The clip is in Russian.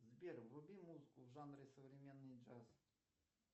сбер вруби музыку в жанре современный джаз